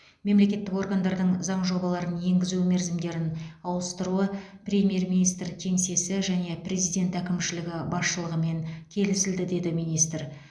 мемлекеттік органдардың заң жобаларын енгізу мерзімдерін ауыстыруы премьер министр кеңсесі және президент әкімшілігі басшылығымен келісілді деді министр